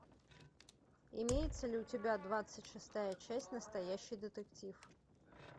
имеется ли у тебя двадцать шестая часть настоящий детектив